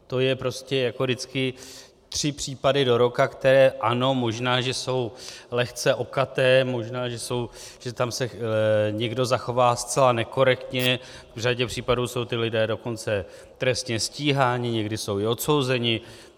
To je prostě jako vždycky tři případy do roka, které, ano, možná, že jsou lehce okaté, možná že se tam někdo zachová zcela nekorektně, v řadě případů jsou ti lidé dokonce trestně stíháni, někdy jsou i odsouzeni.